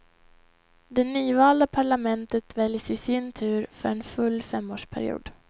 Det nyvalda parlamentet väljs i sin tur för en full femårsperiod.